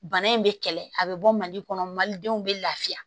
Bana in bɛ kɛlɛ a bɛ bɔ mali kɔnɔ malidenw bɛ lafiya